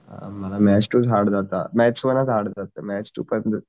अ मला maths two hard जात maths one hard जात मॅथ्स टू